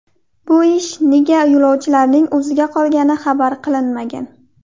Bu ish nega yo‘lovchilarning o‘ziga qolgani xabar qilinmagan.